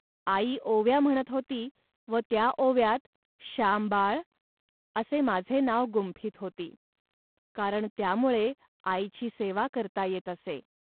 आई ओव्या म्हणत होती व त्या ओव्यात "श्याम बाळ" असे माझे नाव गुंफीत होती. कारण त्यामुळे आईची सेवा करता येत असे